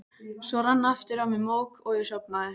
Svo rann aftur á mig mók og ég sofnaði.